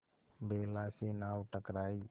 बेला से नाव टकराई